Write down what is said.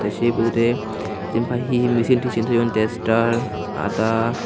se bidire jempai hehe michin tichin toyon taster aada.